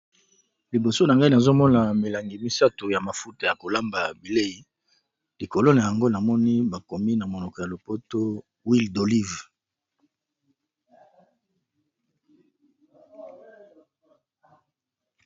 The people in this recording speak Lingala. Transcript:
Liboso na ngai nazomona milangi misato ya mafuta ya kolamba bilei likolo na yango namoni bakomi na monoko ya lopoto huile d' olive.